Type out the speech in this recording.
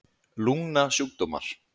lungnasjúkdómar